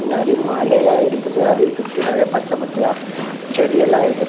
பின்னாடி மலையா இருக்குது அதெ சுத்தி நறைய பச்செ பச்சையா செடி எல்லா இருக்குது.